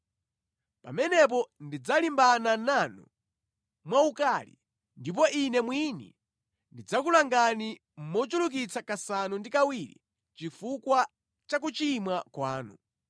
pamenepo ndidzalimbana nanu mwaukali, ndipo Ine mwini ndidzakulangani mochulukitsa kasanu ndi kawiri chifukwa cha kuchimwa kwanu.